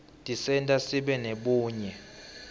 tisenta sibe nebunye